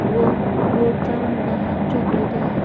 व बोट चा रंग हा चॉकलेटी आहे.